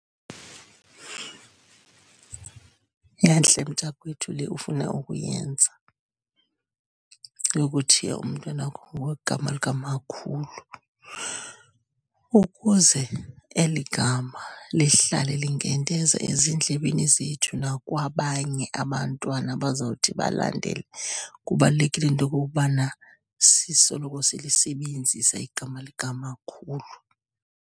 Yantle, mntakwethu, le ufuna ukuyenza, yokuthiya umntwana wakho ngokwegegama likamakhulu, ukuze eli gama lihlale linkenteza ezindlebeni zethu nakwabanye abantwana abazawuthi balandele. Kubalulekile into yokokubana sisoloko silisebenzisa igama likamakhulu.